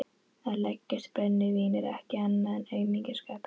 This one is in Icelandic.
Að leggjast í brennivín er ekkert annað en aumingjaskapur.